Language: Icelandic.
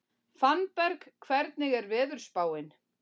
Fannberg, hvernig er veðurspáin?